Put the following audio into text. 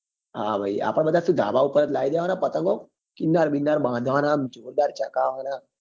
હા ભાઈ આપડે શું ધાબા પર જ લાવી દેવા ના પતંગો કીન્નાર વિન્નારબાંધવા નાં આમ જોરદાર ચગાવવા ના